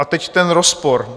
A teď ten rozpor.